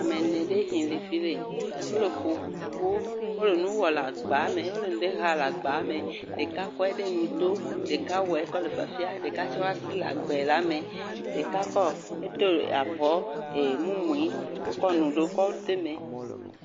Ame ene ɖe hi le fi le, wole koko, wole nu wɔ le agba me, wole ŋɖe ha le agba me, ɖeka kɔe ɖe ŋuto, ɖeka wɔe kɔ le fiafia ɖeka tse woa si le agbe la me, ɖeka kɔ edo avɔ ee.. mumui ekɔ ɖewo de me.